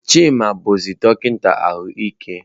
Chima bụzi dọkịta ahụike.